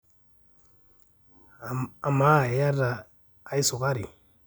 amaa iyata ae sukari